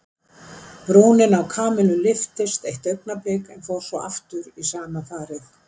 Brúnin á Kamillu lyftist eitt augnablik en fór svo aftur í sama farið.